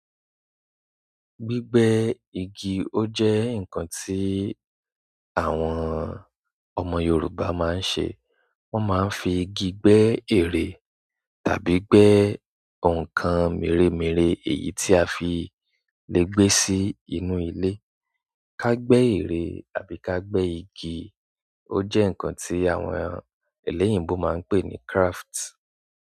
Gbígbẹ́ igi ó jẹ́ ǹkan tí àwọn ọmọ Yorùbá máa ń ṣe. Wọ́n máa ń fi igi gbẹ́ ère tàbí gbẹ́ ǹkan mèremère èyí tí a fi lè gbé sí inú ilé. Ka gbẹ́ ère àbí ka gbẹ́ igi ó jẹ́ ǹkan tí àwọn ẹlẹ́yìnbo máa ń pè ní craft.